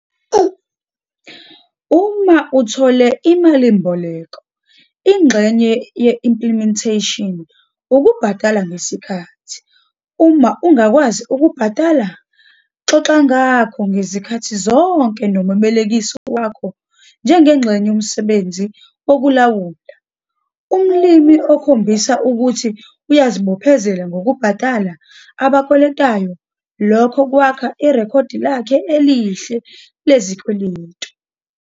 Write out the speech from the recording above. Uma uthole imalimboleko, ingxenye ye-implementation ukubhadala ngesikhathi. Uma ungakwazi ukubhadala, xoxa ngakho ngezikhathi zonke nomebolekisi wakho njengengxenye yomsebenzi wokulawula. Umlimi okhombisa ukuthi uyazibophezela ngokubhadala abakweletayo, lokho kwakha irekhodi lakho elihle lesikweleti.